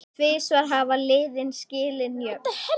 Tvisvar hafa liðin skilið jöfn.